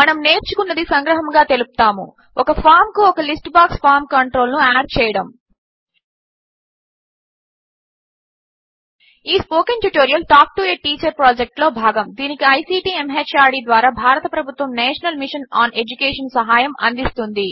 మనము నేర్చుకున్నది సంగ్రహముగా తెలుపుతాము160 ఒక ఫామ్ కు ఒక లిస్ట్ బాక్స్ ఫార్మ్ కంట్రోల్ ను యాడ్ చేయడము ఈ spoken tutorial talk to a teacher project లో భాగము దీనికి ఐసీటీ ఎంహార్డీ ద్వారా భారత ప్రభుత్వ నేషనల్ మిషన్ ఆన్ ఎడ్యుకేషన్ సహాయం అందిస్తోంది